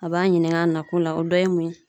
A b'an ɲininka an nakun la, o dɔ ye mun ye?